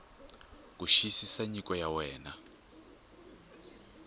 ku xiyisisa nyiko ya wena